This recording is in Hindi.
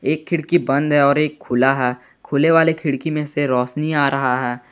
एक खिड़की बंद है और एक खुला है खुले वाले खिड़की में से रोशनी आ रहा है।